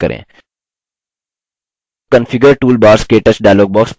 the configure toolbars – ktouch dialog box प्रदर्शित होता है